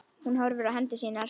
Hún horfir á hendur sínar.